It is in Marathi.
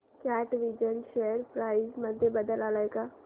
कॅटविजन शेअर प्राइस मध्ये बदल आलाय का